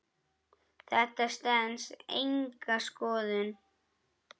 Þetta stenst enga skoðun.